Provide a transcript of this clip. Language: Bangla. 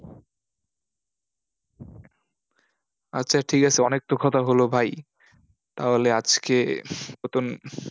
আচ্ছা ঠিক আছে, অনেক তো কথা হলো ভাই। তাহলে আজকের মতন